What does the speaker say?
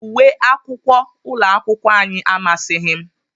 Uwe akwụkwọ ụlọakwụkwọ anyị amasịghị m